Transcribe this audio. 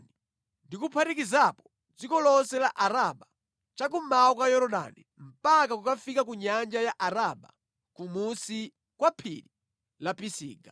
ndi kuphatikizapo dziko lonse la Araba cha kummawa kwa Yorodani mpaka kukafika ku Nyanja ya Araba, kumunsi kwa Phiri la Pisiga.